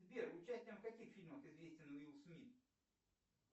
сбер участием в каких фильмах известен уилл смит